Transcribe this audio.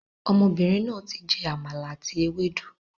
Ọmọbìnrin náà tí jẹ Àmàlà àti ewédú